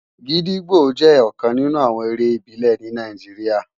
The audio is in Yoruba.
Gidigbó jè òkán ninú àwòn éré ibilè ni Nàijiriá